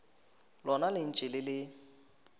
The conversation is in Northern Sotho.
lona le ntše le le